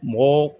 Mɔgɔ